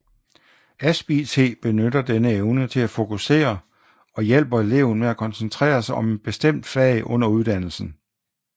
AspIT benytter denne evne til at fokusere og hjælper eleven med at koncentrere sig om et bestemt fag under uddannelsen